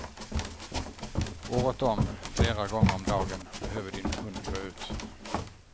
Året om, flera gånger om dagen behöver din hund gå ut.